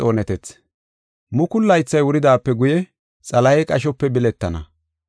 Mukulu laythay wuridaape guye Xalahey qashope biletana.